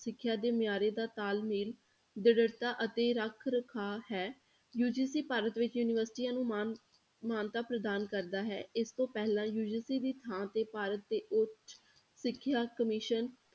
ਸਿੱਖਿਆ ਦੇ ਮਿਆਰੇ ਦਾ ਤਾਲਮੇਲ, ਦ੍ਰਿੜਤਾ ਅਤੇ ਰੱਖ ਰਖਾਵ ਹੈ UGC ਭਾਰਤ ਵਿੱਚ ਯੂਨੀਵਰਸਟੀਆਂ ਨੂੰ ਮਾਨ~ ਮਾਨਤਾ ਪ੍ਰਦਾਨ ਕਰਦਾ ਹੈ, ਇਸ ਤੋਂ ਪਹਿਲਾਂ UGC ਦੀ ਥਾਂ ਤੇ ਭਾਰਤ ਦੇ ਉੱਚ ਸਿੱਖਿਆ commission